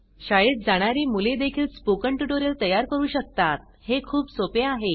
शाळेत जाणारी मुळे देखील स्पोकन ट्यूटोरियल तयार करू शकतात हे खूप सोपे आहे